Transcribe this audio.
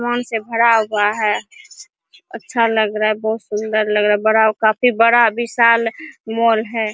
सामान से भरा हुआ है अच्छा लग रहा है बहोत सुंदर लग रहा है बड़ा काफी बड़ा विशाल मॉल है।